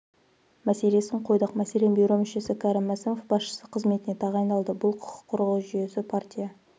мәселесін қойдық мәселен бюро мүшесі кәрім мәсімов басшысы қызметіне тағайындалды бұл құқық қорғау жүйесі партия